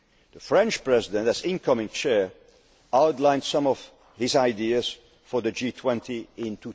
October. The French President, as incoming chair, outlined some of his ideas for the G20